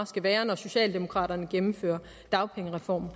skal være når socialdemokraterne gennemfører dagpengereformen